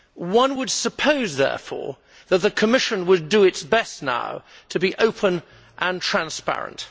One would suppose, therefore, that the Commission will do its best now to be open and transparent.